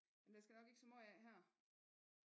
Men der skal nok ikke så måj af her